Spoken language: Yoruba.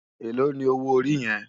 Éló ni ówó óri yèn?